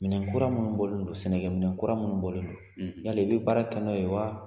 Minɛnkura minnu bɔlen don sɛnɛkɛminɛnkura minnu bɔlen don yala i bɛ baara kɛ n'o ye wa?